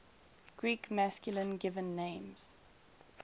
greek masculine given names